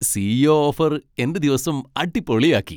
C. E. O offer എന്റെ ദിവസം അടിപൊളിയാക്കി.